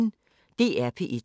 DR P1